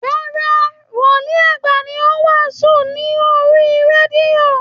Rárá, Wòlìí àgbà ni ó ń wàásù lórí radio